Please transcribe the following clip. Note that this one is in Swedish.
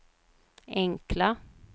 enkla